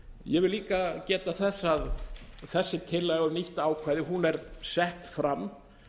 ég vil líka geta þess að þessi tillaga um nýtt ákvæði er sett fram